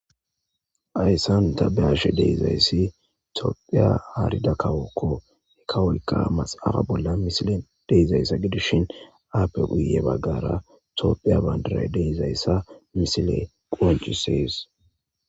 Hyssanu tabeashe deizayssi toopphiya aarida kawokko nikawuykka maxafa bolla misile deizaysa gidishin aappe guye baggara tooppheya bandray deizayssa misile quanchusees.